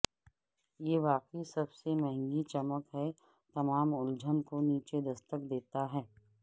یہ واقعی سب سے مہنگی چمک ہے تمام الجھن کو نیچے دستک دیتا ہے